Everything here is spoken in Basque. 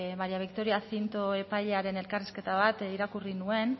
maria victoria cinto epailearen elkarrizketa bat irakurri nuen